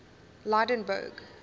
lydenburg